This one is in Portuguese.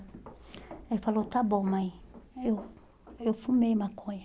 Ele falou, está bom, mãe, eu eu fumei maconha.